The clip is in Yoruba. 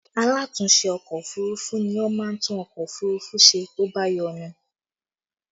Alatúnse ọkọ òfurufú ni ó máa ń tún ọkọ òfurufú ṣe tó bá yọnu